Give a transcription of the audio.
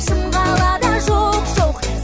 шым қалада жоқ жоқ